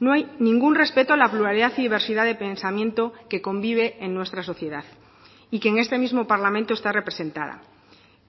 no hay ningún respeto a la pluralidad y diversidad de pensamiento que convive en nuestra sociedad y que en este mismo parlamento está representada